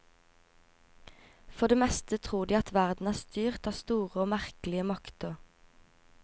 For det meste tror de at verden er styrt av store og merkelige makter.